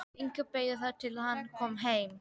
Inga beið þar til hann kom heim.